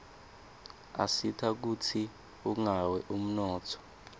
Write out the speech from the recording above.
asita kutsi ungawi umnotfo